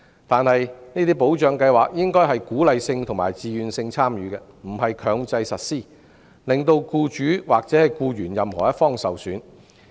然而，這些保障計劃應該屬自願性質，鼓勵參與，而不是強制實施，令僱主或僱員任何一方受損。